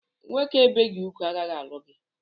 Nwoke ebeghị ugwu agaghị alụ gị!